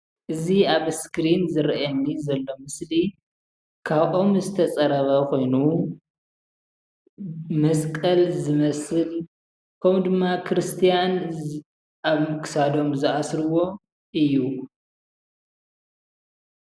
እዚ ኣብ እስክሪን ዝረአየኒ ዘሎ ምስሊ ካብ ኦም ዝተፀረበ ኮይኑ መስቀል ዝመስል ከምኡ ድማ ክርስትያን ኣብ ክሳዶም ዝኣስርዎ እዩ፡፡